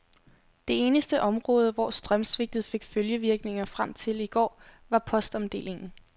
Det eneste område, hvor strømsvigtet fik følgevirkninger frem til i går, var postomdelingen.